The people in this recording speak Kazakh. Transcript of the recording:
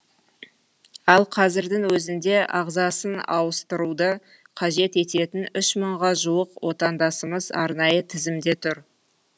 ал қазірдің өзінде ағзасын ауыстыруды қажет ететін үш мыңға жуық отандасымыз арнайы тізімде тұр